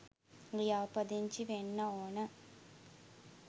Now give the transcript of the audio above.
ලියාපදිංචි වෙන්න ඕන.